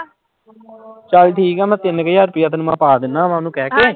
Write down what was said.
ਚੱਲ ਠੀਕ ਹੈ ਮੈਂ ਤਿੰਨ ਕੁ ਹਜ਼ਾਰ ਰੁਪਇਆ ਤੈਨੂੰ ਮੈਂ ਪਾ ਦਿਨਾ ਵਾਂ ਉਹਨੂੰ ਕਹਿਕੇ।